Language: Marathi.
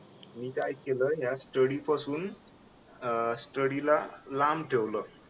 मी काय केलं या स्टडी पासून